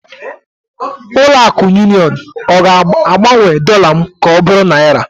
Ụlọ akụ Union ga-agbanwe dollar m ka ọ bụrụ naira?